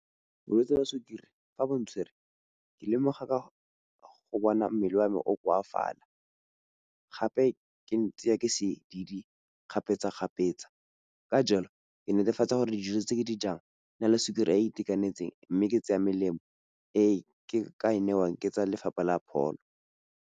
Bolwetsi jwa sukiri fa bo ntshwere ke lemoga ka go bona mmele wa me o koafala gape ke tseya ke sedidi kgapetsa-kgapetsa. Ka jalo, ke netefatsa gore dijo tse ke dijang di na le sukiri e itekanetseng, mme ke tseya melemo e ke e newang ke tsa lefapha la pholo.